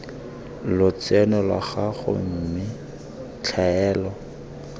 lotseno lwa gago mme tlhaelo